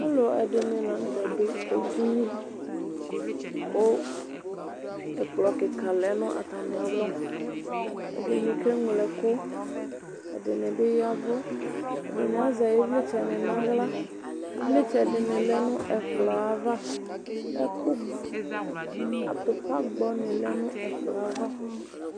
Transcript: Alʋ ɛdini lanʋtɛ dʋ edini kʋ ɛkplɔ kika lɛnʋ atami alɔ ɛdini keŋlo ɛkʋ ɛdini bi ya ɛvʋ ɛdini azɛ ivlitsɛni nʋ aɣla ivlitsɛ dini lɛnʋ ɛkplɔ yɛ ava atupa gbɔni lɛnʋ ɛkplɔ yɛ ava